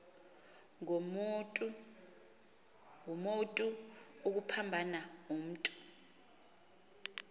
ngumotu obuphambana umntu